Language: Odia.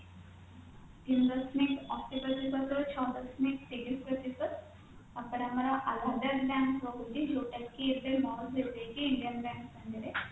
ତିନି ଦଶମିକ ଅଶି ପ୍ରତିଶତ ରୁ ଛ ଦଶମିକ ତିରିଶ ପ୍ରତିଶତ Allahabad bank ରହୁଛି ଯୋଉଟା କି ଏବେ merge ହେଇ ଯାଇକି indian bank ସାଙ୍ଗେରେ